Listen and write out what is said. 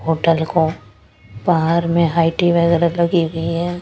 Hotel को बाहर में हाईटी वगैरह लगी हुई है।